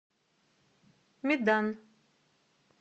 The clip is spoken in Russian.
медан